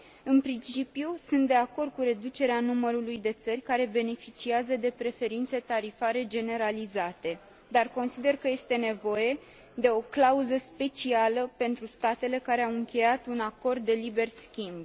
În principiu, sunt de acord cu reducerea numărului de țări care beneficiază de preferințe tarifare generalizate, dar consider că este nevoie de o clauză specială pentru statele care au încheiat un acord de liber schimb.